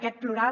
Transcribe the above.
aquest plural